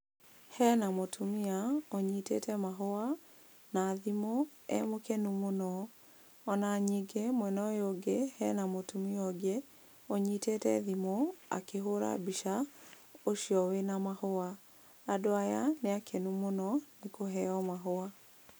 Hena mũtumia, ũnyitĩte mahũa, na thimũ e mũkenu mũno. Ona nyingĩ mwena ũyũ ũngĩ hena mũtumia ũngĩ ũnyitĩte thimũ akĩhũra mbica ũcio wĩna mahũa, andũ aya nĩ akenu mũno nĩ kũheo mahũa.